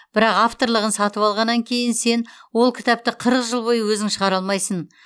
бірақ авторлығын сатып алғаннан кейін сен ол кітапты қырық жыл бойы өзің шығара алмайсың